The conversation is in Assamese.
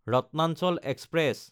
ৰত্নাচল এক্সপ্ৰেছ